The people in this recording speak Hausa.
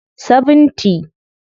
70